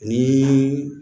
Ni